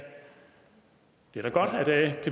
det er da godt at